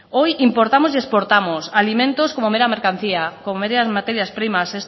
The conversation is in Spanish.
hoy importamos y exportamos alimentos como mera mercancía como meras materias primas